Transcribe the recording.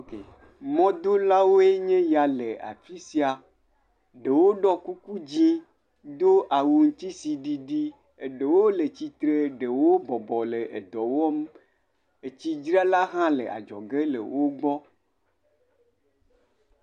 Mɔ do lãwo ya le afi sia, ɖewo dɔ kuku dzẽ do awu ŋuti tsi didi. Ɖewo le tsitre, ɖewo bɔbɔ le dɔwɔm etsi ɖzra la hã le adzɔge le wo gbɔ.